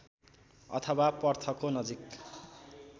अथवा पर्थको नजिक